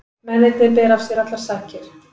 Mennirnir bera af sér allar sakir